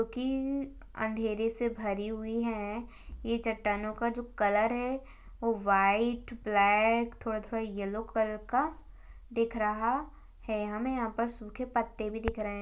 जोकि अँधेरे से भरी हुई है ये चट्टानो का जो कलर है वो वाइट ब्लैक थोड़ा थोड़ा येल्लो कलर का दिख रहा है हमें यहाँ पर सूखे पत्ते भी दिख रहे है।